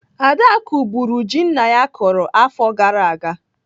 Adaku bụrụ ji nna ya kụrụ afọ gara aga.